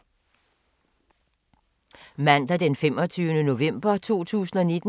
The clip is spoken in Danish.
Mandag d. 25. november 2019